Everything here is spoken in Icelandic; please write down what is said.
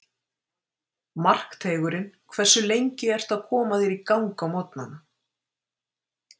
Markteigurinn Hversu lengi ertu að koma þér í gang á morgnanna?